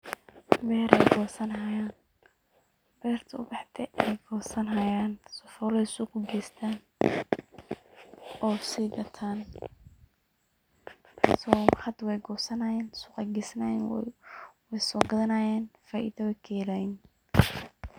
Beer ay gosanayaan, beerti ubaxde ayey gosanyaan sifola ay suuq u geystaan oo sii gataan.so hadda wey gosnayaan suqa aya gesnayaan ,wey soo gadanayaan faiido ay ka helayiin.